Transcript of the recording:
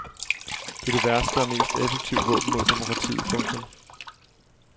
Det er det værste og mest effektive våben mod demokratiet. punktum